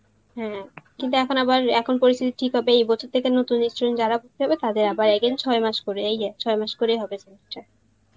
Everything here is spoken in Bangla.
হ্যাঁ কিন্তু এখন আবার, এখন পরিস্তিথি ঠিক হবে, এই বছর থেকে নতুন student যারা তাদের আবার again ছয় মাস করেই ছয় মাস করেই হবে semester